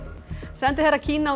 sendiherra Kína á